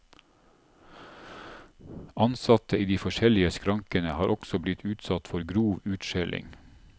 Ansatte i de forskjellige skrankene har også blitt utsatt for grov utskjelling.